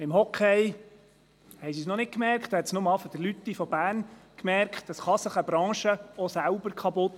Im Eishockey hat es ausser Marc Lüthi von Bern bisher auch niemand gemerkt.